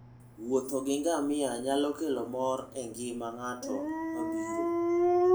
wuotho gi ngamia nyalo kelo mor engima nga'tno mabiro.